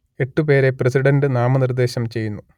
എട്ട് പേരെ പ്രസിഡന്റ് നാമനിർദ്ദേശം ചെയ്യുന്നു